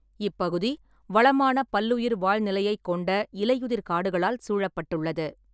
இப்பகுதி வளமான பல்லுயிர் வாழ்நிலையைக் கொண்ட இலையுதிர் காடுகளால் சூழப்பட்டுள்ளது.